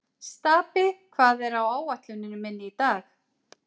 Stapi, hvað er á áætluninni minni í dag?